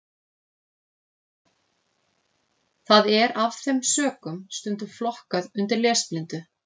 Það er af þeim sökum stundum flokkað undir lesblindu.